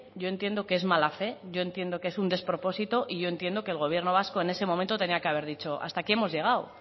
yo entiendo que es mala fe yo entiendo que es un despropósito y yo entiendo que el gobierno vasco en ese momento tenía que haber dicho hasta aquí hemos llegado